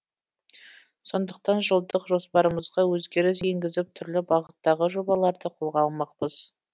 сондықтан жылдық жоспарымызға өзгеріс енгізіп түрлі бағыттағы жобаларды қолға алмақпыз